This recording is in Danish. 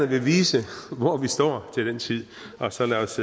vil vise hvor vi står til den tid og så lad os